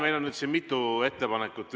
Meil on nüüd mitu ettepanekut.